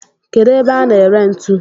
Kedu ebe a na ere ntu?